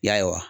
Ya